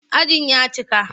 Ajin ya cika.